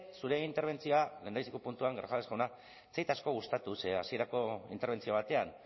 zure interbentzioa lehendabiziko puntuan grajales jauna ez zait asko gustatu ze hasierako interbentzio batean